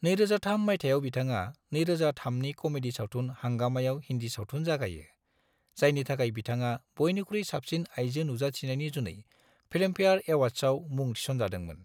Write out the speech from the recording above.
2003 मायथाइयाव बिथाङा 2003 नि कमेडी सावथुन हांगामाआव हिन्दी सावथुन जागायो, जायनि थाखाय बिथाङा बयनिख्रुइ साबसिन आइजो नुजाथिनायनि जुनै फिल्मफेयार एवार्ड्सआव मुं थिसनजादोंमोन।